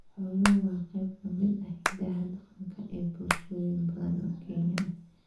Xooluhu waa qayb ka mid ah hiddaha dhaqanka ee bulshooyin badan oo Kenyan ah.